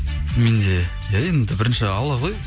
менде иә енді бірінші алла ғой